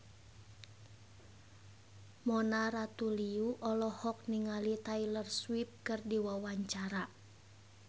Mona Ratuliu olohok ningali Taylor Swift keur diwawancara